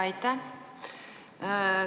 Aitäh!